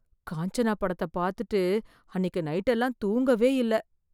காஞ்சனா படத்த பாத்துட்டு அன்னைக்கு நைட் எல்லாம் தூங்கவே இல்ல.